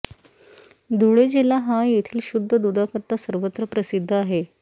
धुळे जिल्हा हा येथील शुद्ध दुधाकरता सर्वत्र प्रसिद्ध आहे